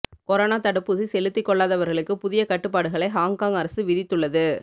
corona தடுப்பூசி செலுத்திக் கொள்ளாதவர்களுக்குப் புதிய கட்டுப்பாடுகளை ஹாங்காங் அரசு விதித்துள்ளது